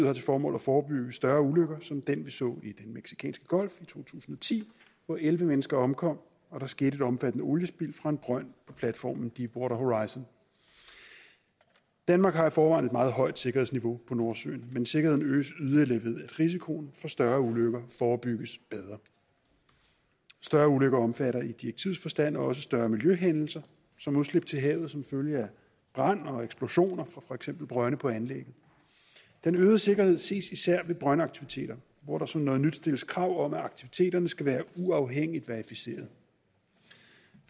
har til formål at forebygge større ulykker som den vi så i den mexicanske golf i to tusind og ti hvor elleve mennesker omkom og der skete et omfattende oliespild fra en brønd på platformen deep water horizon danmark har i forvejen et meget højt sikkerhedsniveau i nordsøen men sikkerheden øges yderligere ved at risikoen for større ulykker forebygges bedre større ulykker omfatter i direktivets forstand også større miljøhændelser som udslip til havet som følge af brand og eksplosioner fra for eksempel brønde på anlægget den øgede sikkerhed ses især ved brøndaktiviteter hvor der som noget nyt stilles krav om at aktiviteterne skal være uafhængigt verificeret